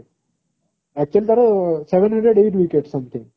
actually ତାର seven hundred eight wicket something